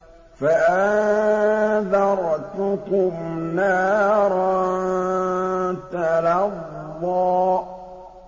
فَأَنذَرْتُكُمْ نَارًا تَلَظَّىٰ